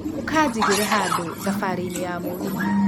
ũkanjigĩre handũ thabari ini ya mũgithi.